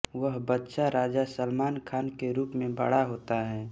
वह बच्चा राजा सलमान खान के रूप में बड़ा होता है